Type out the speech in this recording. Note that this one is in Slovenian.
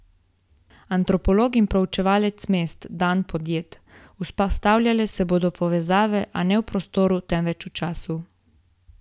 Antropolog in preučevalec mest Dan Podjed: "Vzpostavljale se bodo povezave, a ne v prostoru, temveč v času.